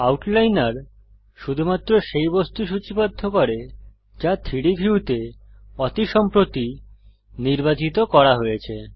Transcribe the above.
আউটলাইনর শুধুমাত্র সেই বস্তু সূচীবদ্ধ করে যা 3ডি ভিউতে অতি সম্প্রতি নির্বাচিত করা হয়েছে